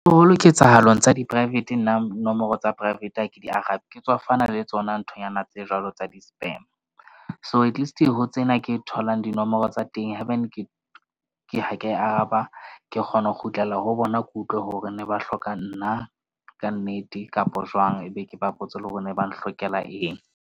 ketsahalong tsa di-private nna nomoro tsa private ha ke di arabe, ke tswafana le tsona nthonyana tse jwalo tsa di-spam. So, at least ho tsena ke tholang dinomoro tsa teng, Haebane ha ke ha ke a araba, ke kgona ho kgutlela ho bona, ke utlwe hore na ba hloka nna kannete kapa jwang. Ebe ke ba botse hore na ba nhlokela eng.